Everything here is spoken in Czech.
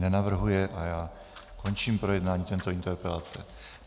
Nenavrhuje a já končím projednání této interpelace.